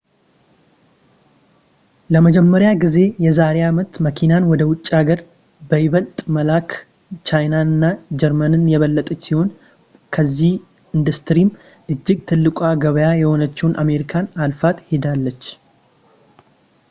ለመጀመሪያ ጊዜ የዛሬ አመት መኪናን ወደ ውጭ ሀገር በይበልጥ በመላክ ቻይና ጀርመን የበለጠች ሲሆን በዚሁ ኢንዱስትሪም እጅግ ትልቋ ገበያ የሆነችውን አሜሪካን አልፋት ሄዳለች